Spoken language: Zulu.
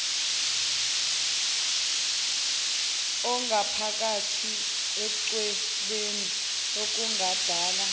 angaphakathi echwebeni okungadala